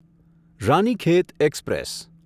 Ranikhet express